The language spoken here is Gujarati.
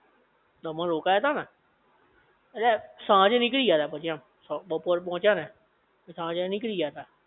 દમણ રોકાયા તા ને, ઍટલે સાંજે નીકળી ગયા તા પછી એમ બપોર પોચીયા ને સાંજે નીકળી ગયા તા